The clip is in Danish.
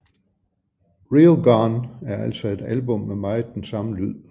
Real Gone er altså et album med meget den samme lyd